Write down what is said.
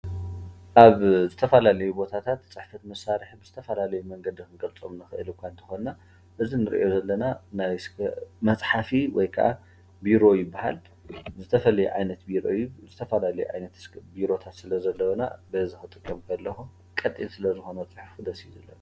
ኣብ ዝተፋላልዊ ቦታታት ጽሕፈር መሳርሒ ብዝተፋላልይ መንገዲ ክንገልጾም ንኽአል እኳ እንተኾንና እዚ ንርኦ ዘለና መጽሓፊ ወይ ከዓ ቢሮ ይብሃል። ዝተፈልየ ዓይነት ቢሮታት ስለዘለዊና ስለ ዘለዉና በዚ ክጥቀም ከለኩ ቐጢን ስለ ዝኾነ ደስ እዩ ዝብለኒ።